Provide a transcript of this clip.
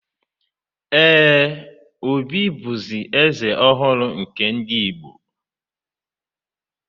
Ee, Obi bụzi Eze ọhụrụ nke ndị Igbo.